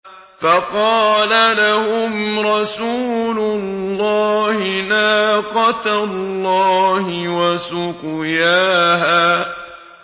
فَقَالَ لَهُمْ رَسُولُ اللَّهِ نَاقَةَ اللَّهِ وَسُقْيَاهَا